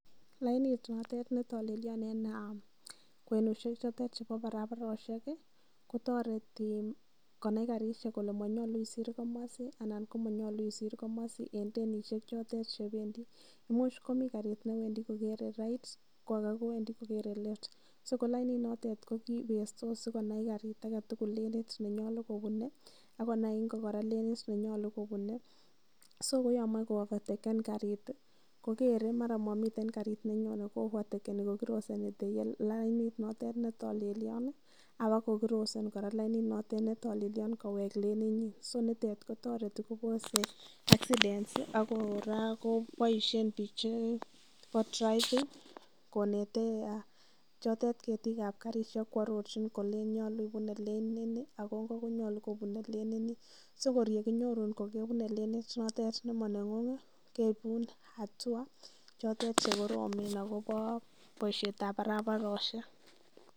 Lainet notok ne talelia eng' kwenushek chotet chepo paraparoshiek kotareti konai karishek kole manyalunisir komasi anan ko manyalu manyalu isir komasi eng' denishechotet che pendi. Imuchi komitei karit ne wendi kokere right ko ake kowendi kokere left. So ko lainenotok ko kii pestos si konai karit age tugul lenit ne nyalu kopune akoi kora lenit ne nyalu kopune. So ko ya mache ko ovateken karit i, kokere ko mara mami kariit nenyone, ko ovatekeni kokrosin lainit notet ne talelion ako croseen kora lainet ne talelian kowek lenit nyi. So lainitet kotareti kopos accidents i, ak kora kopaishen piik chepo driving konete chotet ketiik ap karishek koarorchin kolen nyalu ipune lenit ni ako nop konyalu kopune lenit nin. so kor kakinyorun ipune lenit ne maneng'ung' keipun hatua chotet che koromen akopa poishetap paraparoshek.